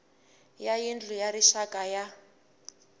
wa yindlu ya rixaka ya